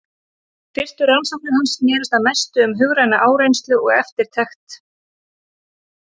Fyrstu rannsóknir hans snerust að mestu um hugræna áreynslu og eftirtekt.